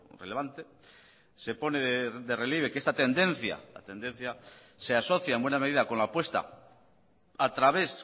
relevante se pone de relieve que esta tendencia la tendencia se asocia en buena medida con la apuesta a través